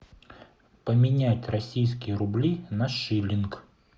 поменять российские рубли на шиллинг